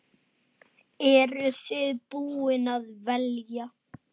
Eru þið búin að velja?